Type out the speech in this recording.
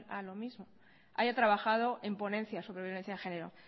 a lo mismo haya trabajado en ponencias sobre violencia de género